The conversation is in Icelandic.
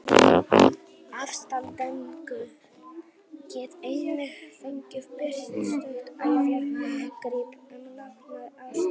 Aðstandendur get einnig fengið birt stutt æviágrip um látna ástvini og myndir.